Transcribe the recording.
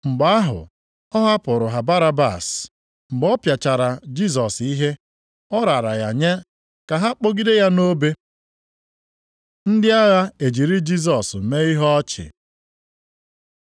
Mgbe ahụ ọ hapụụrụ ha Barabas. Mgbe ọ pịachara Jisọs ihe, ọ raara ya nye ka ha kpọgide ya nʼobe. Ndị agha ejiri Jisọs mee ihe ọchị